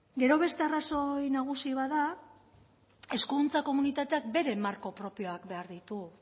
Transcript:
gero beste arrazoi nagusi bat da hezkuntza komunitateak bere marko propioak behar ditu